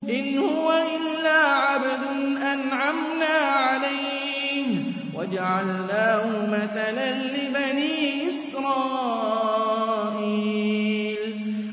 إِنْ هُوَ إِلَّا عَبْدٌ أَنْعَمْنَا عَلَيْهِ وَجَعَلْنَاهُ مَثَلًا لِّبَنِي إِسْرَائِيلَ